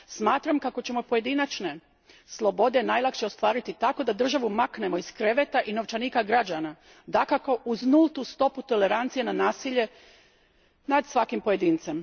Smatram kako ćemo pojedinačne slobode najlakše ostvariti tako da državu maknemo iz kreveta i novčanika građana, dakako uz nultu stopu tolerancije na nasilje nad svakim pojedincem.